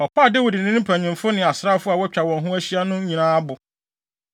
Ɔpaa Dawid ne ne mpanyimfo ne asraafo a wɔatwa wɔn ho ahyia no nyinaa abo.